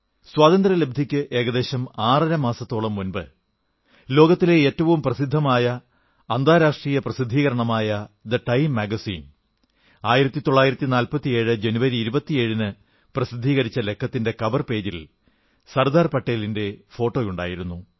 സ്വാതന്ത്ര്യലബ്ധിക്ക് ഏകദേശം ആറരമാസത്തോളം മുമ്പ് ലോകത്തിലെ ഏറ്റവും പ്രസിദ്ധമായ അന്താരാഷ്ട്ര പ്രസിദ്ധീകരണമായ ദ ടൈം മാഗസിൻ 1947 ജനുവരി 27 ന് പ്രസിദ്ധീകരിച്ച ലക്കത്തിന്റെ കവർ പേജിൽ സർദാർ പട്ടേലിന്റെ ഫോട്ടോയായിരിന്നു